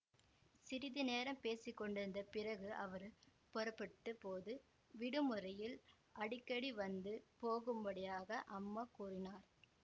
சிறிது நேரம் பேசிக்கொண்டிருந்த பிறகு அவர் புறப்பட்டபோது விடுமுறையில் அடிக்கடி வந்து போகும்படியாக அம்மா கூறினார்